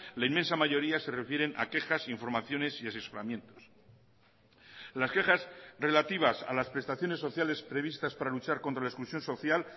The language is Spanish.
la inmensa mayoría se refieren a quejas informaciones y asesoramientos las quejas relativas a las prestaciones sociales previstas para luchar contra la exclusión social